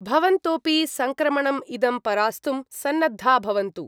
भवन्तोपि सङ्क्रमणम् इदं परास्तुं सन्नद्धा भवन्तु।